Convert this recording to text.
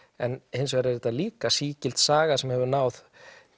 hins vegar er þetta líka sígild saga sem hefur náð